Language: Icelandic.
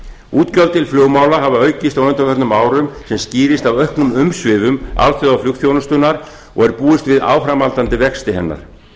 til flugmála hafa aukist á undanförnum árum sem skýrist af auknum umsvifum alþjóðaflugþjónustunnar og er búist við áframhaldandi vexti hennar